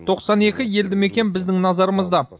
тоқсан екі елді мекен біздің назарымызда